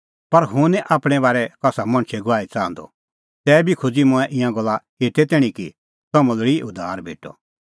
पर हुंह निं आपणैं बारै कसा मणछे गवाही च़ाहंदअ तैबी खोज़ी मंऐं ईंयां गल्ला एते तैणीं कि तम्हां लोल़ी उद्धार भेटअ